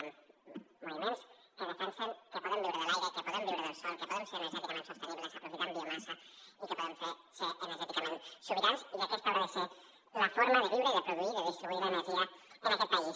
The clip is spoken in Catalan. hi han moviments que defensen que podem viure de l’aire que podem viure del sol que podem ser energèticament sostenibles aprofitant biomassa i que podem ser energèticament sobirans i que aquesta haurà de ser la forma de viure i de produir i de distribuir l’energia en aquest país